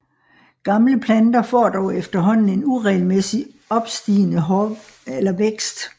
Gamle planter får dog efterhånden en uregelmæssigt opstigende vækst